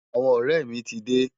Awòn òrè mi ti dé